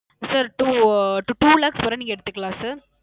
Sir Two uh Two lakhs வர நீங்க எடுத்துக்கலாம் Sir